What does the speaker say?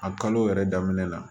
A kalo yɛrɛ daminɛ la